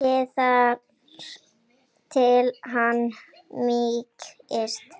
Steikið þar til hann mýkist.